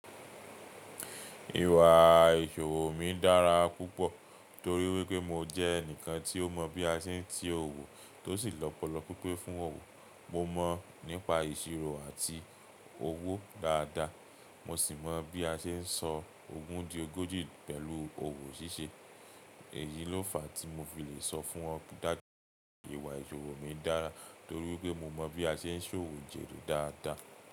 Ìwà ìṣòwò mi dára púpọ̀ torí wípé mo jẹ́ ẹnìkan tí ó mọ̀ bí a ṣe ń tì owó tó sì lọ́pọlọpọ̀ pipe fún ọwọ́. Mo mọ̀ nípa ìṣirò àti owó dáadáa. Mo sì mọ̀ bí a ṣe ń sọ ogún di ogójì pẹ̀lú owó ṣíṣe. Èyí ló fàá tí mo fi lè sọ fún ọ pé dájú pé ìwà ìṣòwò mi dára torí wípé mo mọ̀ bí a ṣe ń ṣòwò jẹ́dù dáadáa.